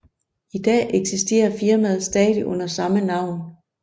I dag eksisterer firmaet stadig under samme navn